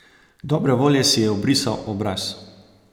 Dobre volje si je obrisal obraz.